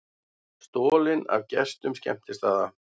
Stolið af gestum skemmtistaða